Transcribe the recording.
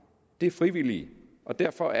det er frivillige og derfor